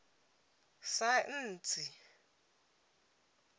saentsi